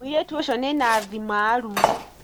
Mũirĩtu ũcio nĩnathi maarumu.